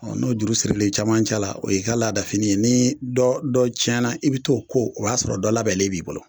Ɔ n'o juru siril'i caman ca la o y'i k'a ladafini ye ni dɔ dɔ cɛna i bi t'o ko o y'a sɔrɔ dɔ labɛlen b'i bolo